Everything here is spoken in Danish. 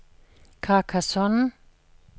Carcassonne